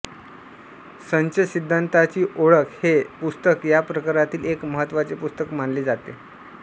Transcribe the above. संच सिद्धांताची ओळख हे पुस्तक या प्रकारातील एक महत्त्वाचे पुस्तक मानले जाते